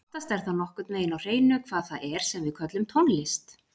En oftast er það nokkurn veginn á hreinu hvað það er sem við köllum tónlist.